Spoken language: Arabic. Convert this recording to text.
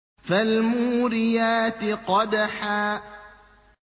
فَالْمُورِيَاتِ قَدْحًا